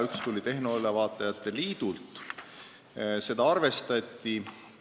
Üks tuli tehnoülevaatajate liidult ja seda arvestati.